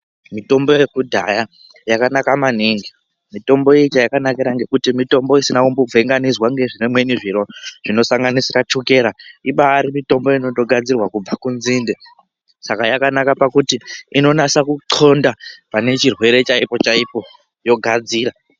Mitombo yekudhaya yakanaka maningi mutombo iyi chayakanakira ngekuti mutombo isina kumbovhenganiswa nezvimweni zviro zvinosanganisira chukera ibari mitombo inotogadzirwa kubva kunzinde saka yakanakira pakuti inonase kuthonda pane chirwere chaipo chaipo yogadzira.